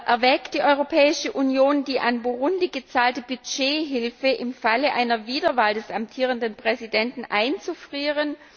Erwägt die Europäische Union, die an Burundi gezahlte Budgethilfe im Falle einer Wiederwahl des amtierenden Präsidenten einzufrieren?